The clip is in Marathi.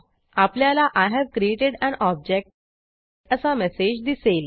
आपल्याला I have created an object असा मेसेज दिसेल